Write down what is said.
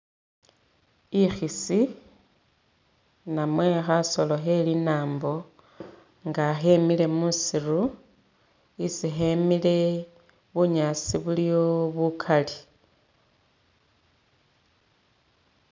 Ikhisi namwe khasolo khe linambo nga khemile musiru, isi khemile bunyaasi buliwo bukali,